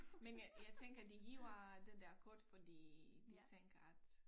Men jeg jeg tænker de giver det der kort fordi de tænker at